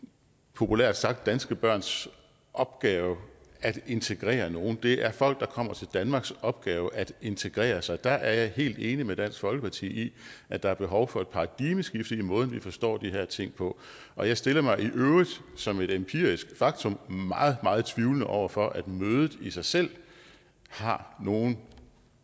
populært sagt ikke danske børns opgave at integrere nogen det er folk der kommer til danmarks opgave at integrere sig og der er jeg helt enig med dansk folkeparti i at der er behov for et paradigmeskifte i måden vi forstår de her ting på og jeg stiller mig i øvrigt som et empirisk faktum meget meget tvivlende over for at mødet i sig selv har nogen